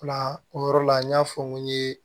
O la o yɔrɔ la n y'a fɔ n ko n ye